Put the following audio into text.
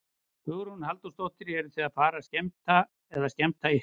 Hugrún Halldórsdóttir: Eruð þið að fara að skemmta eða skemmta ykkur?